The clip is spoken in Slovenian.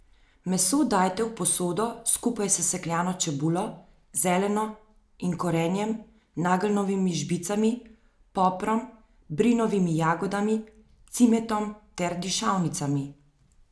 Meso dajte v posodo skupaj s sesekljano čebulo, zeleno in korenjem, nageljnovimi žbicami, poprom, brinovimi jagodami, cimetom ter dišavnicami.